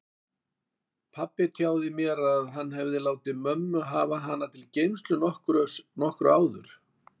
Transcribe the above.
Pabbi tjáði mér að hann hefði látið mömmu hafa hann til geymslu nokkru áður.